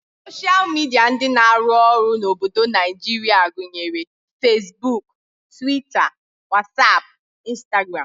Soshal midia ndị na-arụ ọrụ n'obodo Naijirịa gụnyere feesbuk, twita, wasap, Instagram